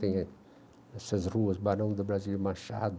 Tem nessas ruas, Barão do Brasílio Machado.